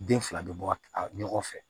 Den fila bɛ bɔ ɲɔgɔn fɛ